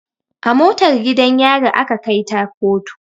A motar gidan yari aka kai ta koto